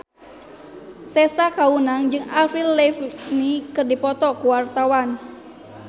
Tessa Kaunang jeung Avril Lavigne keur dipoto ku wartawan